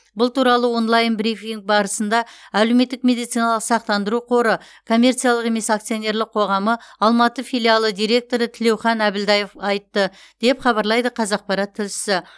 бұл туралы онлайн брифинг барысында әлеуметтік медициналық сақтандыру қоры коммерциялық емес акционерлік қоғамы алматы филиалы директоры тілеухан әбілдаев айтты деп хабарлайды қазақпарат тілшісі